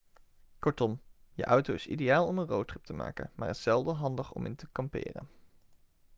kortom je auto is ideaal om een roadtrip te maken maar is zelden handig om in te kamperen'